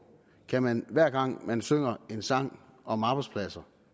kan man hver gang man synger en sang om arbejdspladser